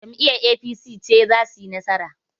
Jam'iyyar APC ce za suyi nasara.